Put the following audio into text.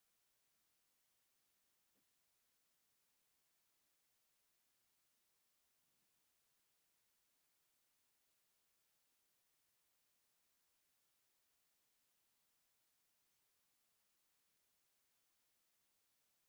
ካብ እንስሳ ዘቤት ሓንቲ ዝኮነት በቅሊ እንትከውን፣ ሓሰርን ንፋይን እትምገብ ንዝተፈላለዩ ንንብረት ካብ ቦታ ናብ ቦታ ብጋሪ መጓዓዚ እትጠቀም እንስሳ እያ።